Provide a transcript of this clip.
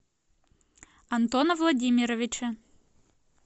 антона владимировича